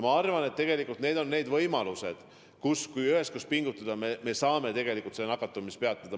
Ma arvan, et need on need võimalused, kui me üheskoos pingutame, siis saame tegelikult nakatumise peatada.